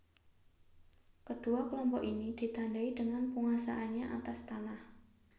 Kedua kelompok ini ditandai dengan penguasaannya atas tanah